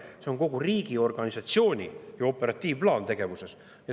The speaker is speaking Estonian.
See on kogu riigiorganisatsiooni operatiivplaan, tegevusplaan.